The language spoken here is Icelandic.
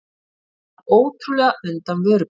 Slapp ótrúlega undan vörubíl